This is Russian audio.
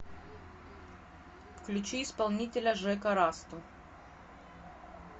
включи исполнителя жека расту